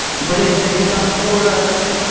блять на бетанкора один